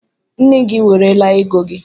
Nne gị werela ego gị